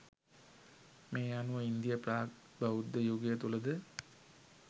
මේ අනුව ඉන්දීය ප්‍රාග් බෞද්ධ යුගය තුළද